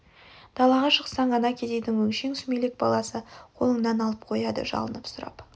далаға шықсаң ана кедейдің өңшең сүмелек баласы қолыңнан алып қояды жалынып сұрап